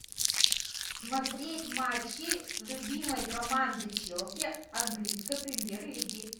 смотреть матчи любимой команды челси английской премьер лиги